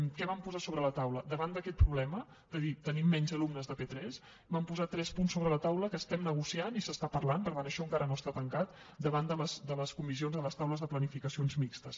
què vam posar sobre la taula davant d’aquest problema de dir tenim menys alumnes de p3 vam posar tres punts sobre la taula que estem negociant i s’està parlant per tant això encara no està tancat davant de les comissions a les taules de planificacions mixtes